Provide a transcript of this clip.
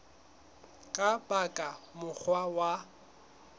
ka ba ka mokgwa wa